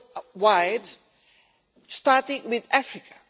worldwide, starting with Africa.